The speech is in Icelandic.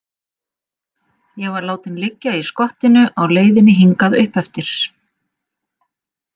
Ég var látinn liggja í skottinu á leiðinni hingað uppeftir.